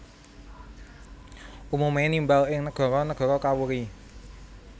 Umume nimbal ing negara negara kawuri